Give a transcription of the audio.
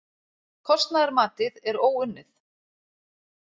Kostnaðarmatið er óunnið